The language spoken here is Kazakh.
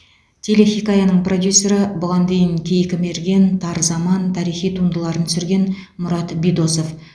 телехикаяның продюсері бұған дейін кейкі мерген тар заман тарихи туындыларын түсірген мұрат бидосов